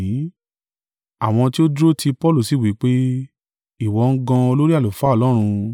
Àwọn tí ó dúró tì Paulu sì wí pé, “Ìwọ́ ń gan olórí àlùfáà Ọlọ́run?”